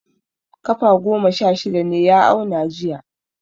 Kafa goma sha shida ne ya auna jiya.